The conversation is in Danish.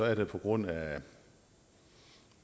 er det på grund af